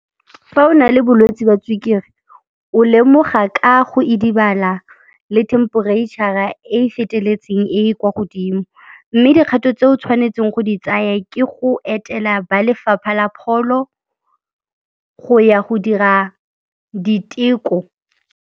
Fa o na le bolwetse ba sukiri, o lemoga ka go idibala le temperitšhara e e feteletseng, e e kwa godimo mme dikgato tse o tshwanetseng go di tsaya ke go etela ba lefapha la pholo go ya go dira diteko.